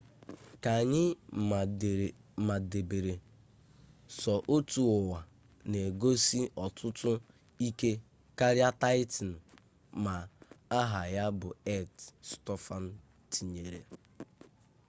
ka anyị madebere sọ otu ụwa na-egosi ọtụtụ ike karịa taịtan ma aha ya bụ earth stofan tinyere